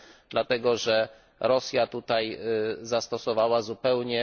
dlatego że Rosja tutaj zastosowała zupełnie...